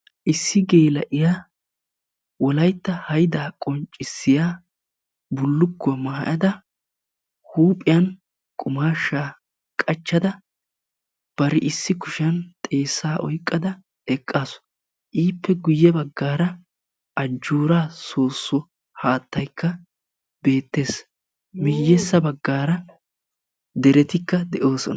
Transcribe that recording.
Issi geela'iya wolaytta haydaa qonccissiya bullukkuwa maayada huuphiyan qumaashshaa qachchada bari issi kushiyan xeessaa oyqqada eqqaasu. Ippe guyye baggaara ajjoora soosso haattaykka beettees. Miyessa baggaara deretika de'oosona.